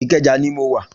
Ikeja ni mó wá